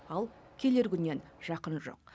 ал келер күннен жақын жоқ